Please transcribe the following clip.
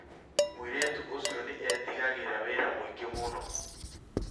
Mũirĩtu ũcio nĩ eetigagĩra wĩra mũingĩ mũno